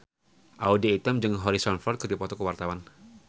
Audy Item jeung Harrison Ford keur dipoto ku wartawan